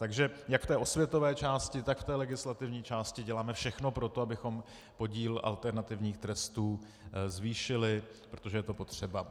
Takže jak v té osvětové části, tak v té legislativní části děláme všechno pro to, abychom podíl alternativních trestů zvýšili, protože je to potřeba.